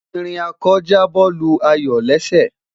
ìrìn ako ja bo Lu ayọ lésè